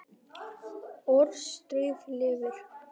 Orðstír lifir.